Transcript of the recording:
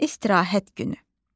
İstirahət günü.